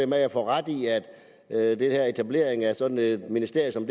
med at jeg får ret i at etableringen af sådan et ministerium som